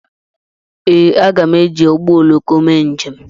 Ee, aga m eji ụgbọ oloko mee njem.